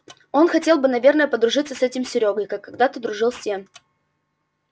он хотел бы наверное подружиться с этим серёгой как когда-то дружил с тем